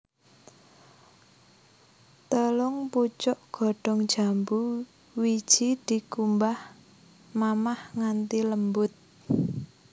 Telung pucuk godhong jambu wiji dikumbah mamah nganthi lembut